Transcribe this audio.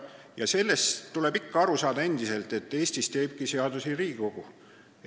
Ja sellest tuleb ikka endiselt aru saada, et Eestis teeb seadusi Riigikogu.